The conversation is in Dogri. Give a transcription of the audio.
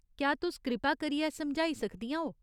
क्या तुस कृपा करियै समझाई सकदियां ओ?